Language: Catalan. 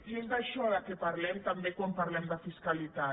i és d’això del que parlem quan parlem de fiscalitat